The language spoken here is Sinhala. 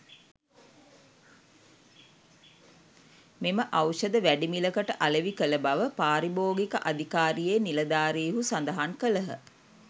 මෙම ඖෂධ වැඩිමිලකට අලෙවි කළ බව පාරිභෝගික අධිකාරියේ නිළධාරීහු සඳහන් කළහ.